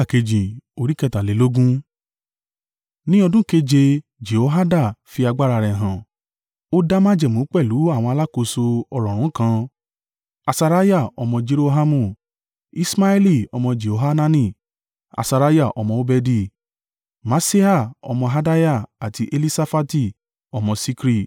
Ní ọdún keje, Jehoiada fi agbára rẹ̀ hàn. O dá májẹ̀mú pẹ̀lú àwọn alákòóso ọ̀rọ̀ọ̀rún kan, Asariah ọmọ Jerohamu, Iṣmaeli ọmọ Jehohanani Asariah ọmọ Obedi, Maaseiah ọmọ Adaiah àti Elisafati ọmọ Sikri.